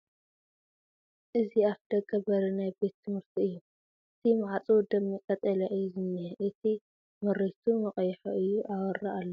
እዚ ኣፍ ደገ በሪ ናይ ቤት ትምህርቲ እዩ ፡ እቲ ማዕፅኡ ደሚቕ ቐጠልያ እዩ ዝንሄ እቲ መሪቱ መቕይሖ እዩ ኣወራ ኣለዎ ።